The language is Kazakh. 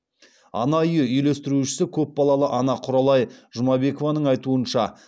ана үйі үйлестірушісі көпбалалы ана құралай жұмабекованың айтуынша